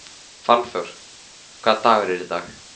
Fannþór, hvaða dagur er í dag?